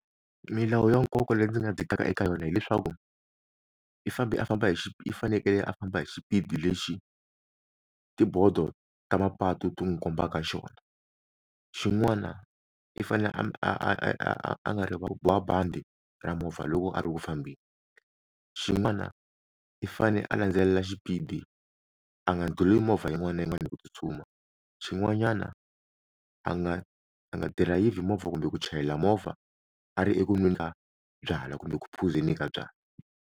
Milawu ya nkoka leyi ndzi nga dzikaka eka yona hileswaku i fambe a famba hi i fanekele a famba hi xipidi lexi tibodo ta mapatu ti n'wi kombaka xona xin'wana i fanele a a a a nga rivali ku boha bandi ra movha loko a ri u fambeni, xin'wana i fane a landzelela xipidi a nga ndlhuli movha yin'wana na yin'wana hi ku tsutsuma xin'wanyana a nga a nga dirayivhi movha kumbe ku chayela movha a ri eku nweni ka byalwa kumbe ku phuzeni ka byalwa.